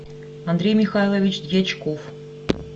андрей михайлович дьячков